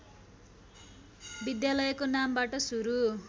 विद्यालयको नामबाट सुरू